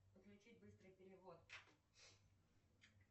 подключить быстрый перевод